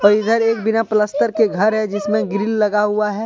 इधर एक बिना पलस्त्तर के घर है जिसमें ग्रिल लगा हुआ है।